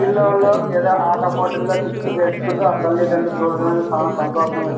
పిల్లలు ఏదో ఆట పోటీల్లో గిఫ్ట్ గెలుచుకుంటే ఆ తల్లి తండ్రులకు చూడడానికి చాలా సంతోషం వేస్తూ--